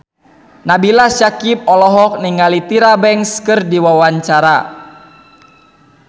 Nabila Syakieb olohok ningali Tyra Banks keur diwawancara